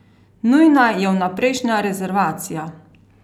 Nujna je vnaprejšnja rezervacija!